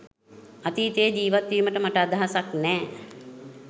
අතීතයේ ජිවත් වීමට මට අදහසක් නෑ